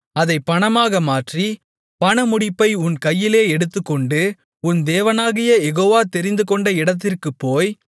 அதைப் பணமாக மாற்றி பணமுடிப்பை உன் கையிலே எடுத்துக்கொண்டு உன் தேவனாகிய யெகோவா தெரிந்துகொண்ட இடத்திற்குப் போய்